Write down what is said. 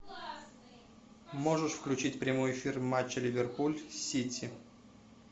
можешь включить прямой эфир матча ливерпуль сити